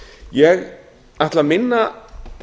ég ætla að minna